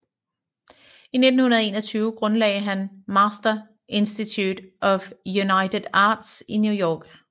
I 1921 grundlagde han Master Institute of United Arts i New York